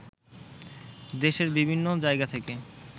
দেশের বিভিন্ন জায়গা থেকে